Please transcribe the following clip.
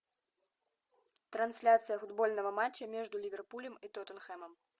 трансляция футбольного матча между ливерпулем и тоттенхэмом